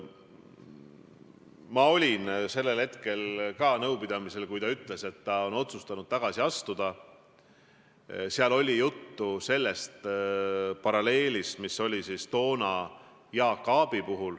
Ma olin sellel hetkel ka nõupidamisel, kui ta ütles, et ta on otsustanud tagasi astuda, seal oli juttu paralleelist Jaak Aabi tagasiastumisega.